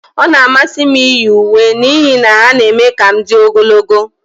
Ọ na-amasị m iyi uwe n'ihi na ha na-eme ka m dị ogologo.